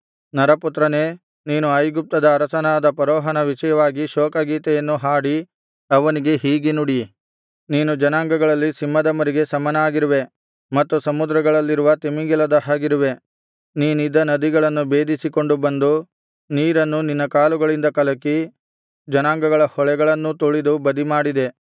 ಅರಸನಾದ ಫರೋಹನ ವಿಷಯವಾಗಿ ಶೋಕ ಗೀತೆಯನ್ನು ಹಾಡಿ ಅವನಿಗೆ ಹೀಗೆ ನುಡಿ ನೀನು ಜನಾಂಗಗಳಲ್ಲಿ ಸಿಂಹದ ಮರಿಗೆ ಸಮನಾಗಿರುವೆ ಮತ್ತು ಸಮುದ್ರಗಳಲ್ಲಿರುವ ತಿಮಿಂಗಿಲದ ಹಾಗಿರುವೆ ನೀನಿದ್ದ ನದಿಗಳನ್ನು ಭೇದಿಸಿಕೊಂಡು ಬಂದು ನೀರನ್ನು ನಿನ್ನ ಕಾಲುಗಳಿಂದ ಕಲಕಿ ಜನಾಂಗಗಳ ಹೊಳೆಗಳನ್ನೂ ತುಳಿದು ಬದಿಮಾಡಿದೆ